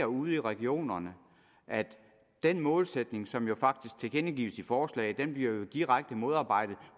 ude i regionerne at den målsætning som jo faktisk tilkendegives i forslaget bliver direkte modarbejdet